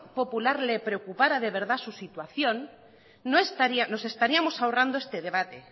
popular le preocupara de verdad su situación nos estaríamos ahorrando este debate